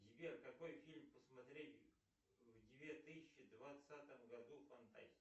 сбер какой фильм посмотреть в две тысячи двадцатом году фантастика